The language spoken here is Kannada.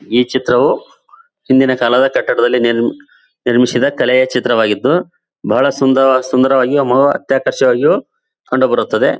ಈ ಚಿತ್ರವೂ ಹಿಂದಿನ ಕಾಲದ ಕಟ್ಟಡದಲ್ಲಿ ನಿರ್ಮ ನಿರ್ಮಿಸಿದ ಕಲೆಯ ಚಿತ್ರವಾಗಿದ್ದು ಬಹಳ ಸುಂದರ ಸುಂದರವಾಗಿ ಅಮವ ಅತ್ಯಾಕರ್ಷಕವಾಗಿಯೂ ಕಂಡುಬರುತ್ತದೆ.